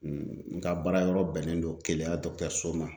N ka baara yɔrɔ bɛnnen don keleya so ma.